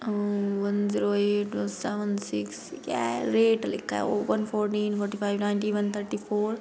अम one zero eight seven six क्या है rate लिखा है one fourteen forty five ninety one thirty four --